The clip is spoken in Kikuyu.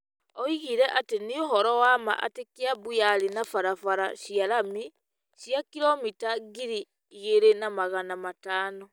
Oigire atĩ nĩ ũhoro wa ma atĩ Kiambu yarĩ na barabara cia rami cia kiromita ngiri igĩrĩ na magana matano,